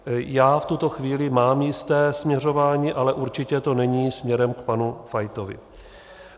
Já v tuto chvíli mám jisté směřování, ale určitě to není směrem k panu Fajtovi.